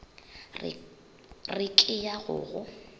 re ke ya go go